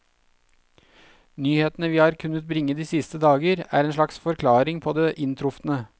Nyhetene vi har kunnet bringe de siste dager, er en slags forklaring på det inntrufne.